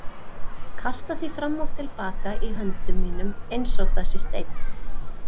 Kasta því fram og til baka í höndum mínum einsog það sé steinn.